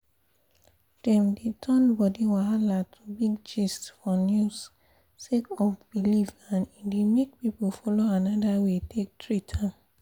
dem dey turn body wahala to big gist for news sake of belief and e dey make people follow another way take treat am